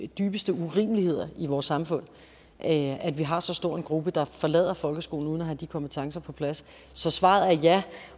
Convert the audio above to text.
dybeste urimeligheder i vores samfund at vi har så stor en gruppe der forlader folkeskolen uden at have de kompetencer på plads så svaret er ja